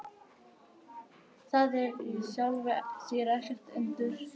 Það er í sjálfu sér ekkert undur.